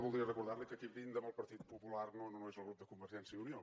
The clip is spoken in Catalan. voldria recordar li que qui brinda amb el partit popular no és el grup de convergència i unió